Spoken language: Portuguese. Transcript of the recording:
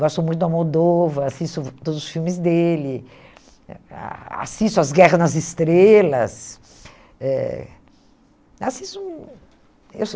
Gosto muito da Moldova, assisto todos os filmes dele, ah assisto As Guerras nas Estrelas. Eh assisto eu